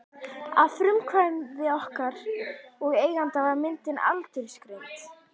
Að frumkvæði okkar og eigenda var myndin aldursgreind.